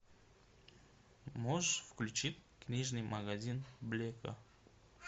можешь включить книжный магазин блэка